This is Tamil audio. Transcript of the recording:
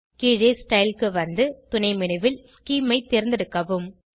கீழே ஸ்டைல் க்கு வந்து துணை menu ல் ஸ்கீம் ஐ தேர்ந்தெடுக்கவும்